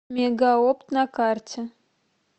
мегаопт на карте